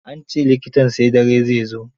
An ce likitan sai dare zai zo.